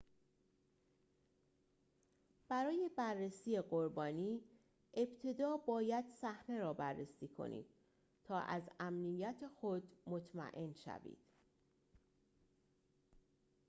برای بررسی قربانی ابتدا باید صحنه را بررسی کنید تا از امنیت خود مطمئن شوید